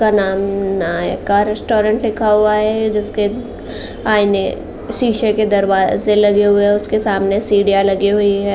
Restaurant लिखा हुआ है जिसके सीसे के दरवाजे लगे हुए हैं। उसके सामने सीढ़ियां लगी हुई हैं।